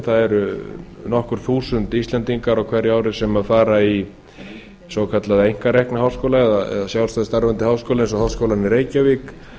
það eru nokkur þúsund íslendingar á hverju ári sem fara í svokallaða einkarekna háskóla eða sjálfstætt starfandi háskóla eins og háskólann í reykjavík